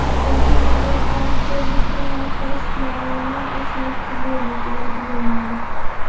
Birinchi navbatda avtobusning orqa eshiklarini ochmoqchi bo‘ldik, iloji bo‘lmadi.